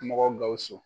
Mɔgɔ gawusu